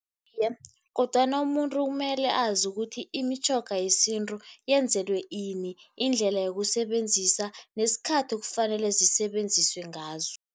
Iye, kodwana umuntu kumele azi ukuthi imitjhoga yesintu yenzelwe ini, indlela yokusebenzisa nesikhathi ekufanele zisebenziswe ngazo.